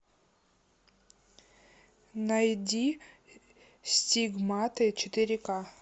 найди стигматы четыре ка